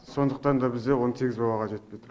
сондықтан да бізде он сегіз балаға жетпей тұр